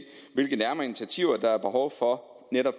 hvilke nærmere initiativer der er behov for